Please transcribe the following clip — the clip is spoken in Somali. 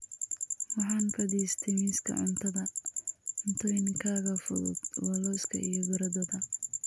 Waxaan fadhiistay miiska cuntada. Cuntooyinkayga fudud waa lawska iyo baradhada.